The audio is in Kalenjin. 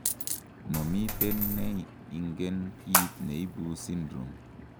momiten neingen kiit neibu syndrome